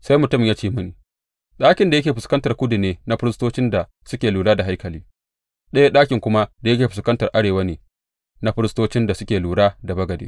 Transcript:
Sai mutumin ya ce mini, Ɗakin da yake fuskantar kudu ne na firistocin da suke lura da haikali, ɗaya ɗakin kuma da yake fuskantar arewa ne na firistocin da suke lura da bagade.